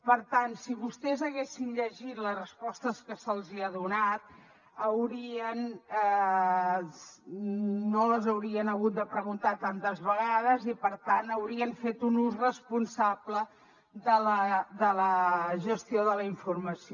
per tant si vostès haguessin llegit les respostes que se’ls ha donat no les haurien hagut de preguntar tantes vegades i per tant haurien fet un ús responsable de la gestió de la informació